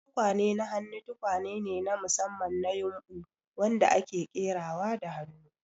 Tukwane na hannu tukwane ne na musamman na ƴumbu wadanda ake ƙerawa da hannu,